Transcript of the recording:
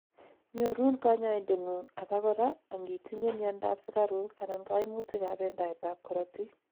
nyorun kanyoindetngung, abakora angitinyei miandap sugaruk anan koimutik ab bendaet tab korotik.